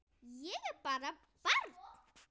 Ég er bara barn.